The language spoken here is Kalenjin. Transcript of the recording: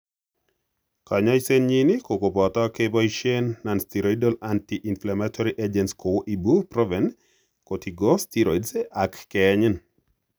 Kanyaisenyin ko kopoto kepoisien nonsteroidal anti inflammatory agents kou Ibuprofen, corticosteroids, ak keyenyin.